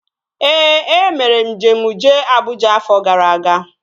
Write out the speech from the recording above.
Ee, e mere njem jee Abụja afọ gara aga